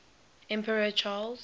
emperor charles